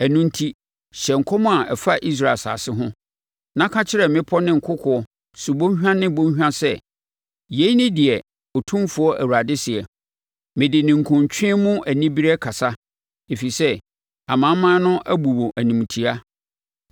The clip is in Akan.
Ɛno enti, hyɛ nkɔm a ɛfa Israel asase ho, na ka kyerɛ mmepɔ ne nkokoɔ, subɔnhwa ne bɔnhwa sɛ, ‘Yei ne deɛ Otumfoɔ Awurade seɛ: Mede ninkunutweɛ mu anibereɛ kasa, ɛfiri sɛ amanaman no abu wo animtiaa.